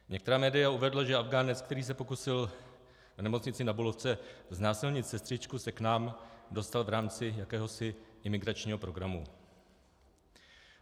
Některá média uvedla, že Afghánec, který se pokusil v Nemocni Na Bulovce znásilnit sestřičku, se k nám dostal v rámci jakéhosi imigračního programu.